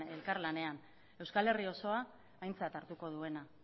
elkarlanean euskal herri osoa aintzat hartuko duena